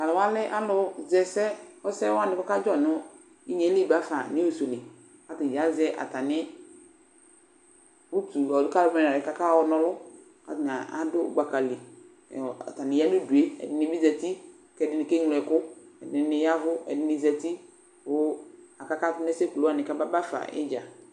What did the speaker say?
Tʋ alʋ wa lɛ alʋzɛ ɛsɛ, ɛsɛ wanɩ kʋ ɔkadzɔ nʋ inye yɛ li ba fa nius li kʋ atanɩ azɛ atamɩ uki ɔ kalvanɩ kʋ akayɔna ɔlʋ kʋ atanɩ adʋ gbaka li Atanɩ aya nʋ udu yɛ, ɛdɩnɩ bɩ zati kʋ ɛdɩnɩ keŋlo ɛkʋ Ɛdɩnɩ ya ɛvʋ, ɛdɩnɩ zati kʋ akakatʋ nʋ ɛsɛ kulu wanɩ kʋ ababa fa ɩdza